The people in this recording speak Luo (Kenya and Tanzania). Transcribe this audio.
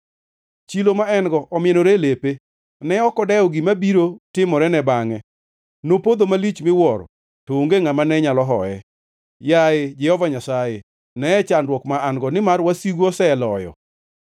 Chilo ma en-go omienore e lepe, ne ok odewo gima biro timorene bangʼe. Nopodho malich miwuoro, to onge ngʼama ne nyalo hoye. Yaye Jehova Nyasaye, neye chandruok ma an-go, nimar wasigu oseloyo.